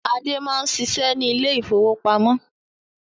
Ade máa ń ṣiṣẹ́ ní ilé ìfowópamọ́.